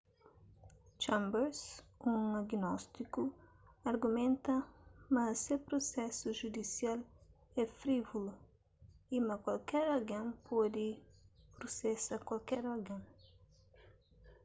chambers un agnóstiku argumenta ma se prusesu judisial é frívulu y ma kualker algen pode prusesa kualker algen